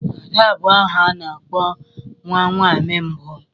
Ada bụ aha a na-akpọ nwa nwaanyị mbụ.